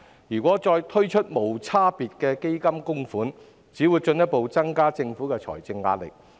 如果再推出無差別的基金供款，只會進一步增加政府的財政壓力。